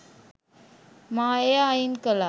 මා එය අයින් කළා.